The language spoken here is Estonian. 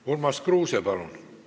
Urmas Kruuse, palun!